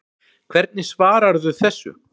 Hvernig svararðu þessu